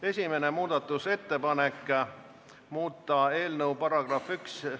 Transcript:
Esimene muudatusettepanek, muuta eelnõu § 1 ...